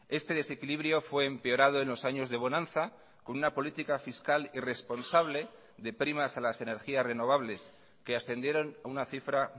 este desequilibrio fue empeorado en los años de bonanza con una política fiscal irresponsable de primas a las energías renovables que ascendieron a una cifra